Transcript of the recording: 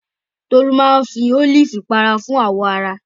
Tolú máa ń fi ólífì pa ara fún àwọ̀ ara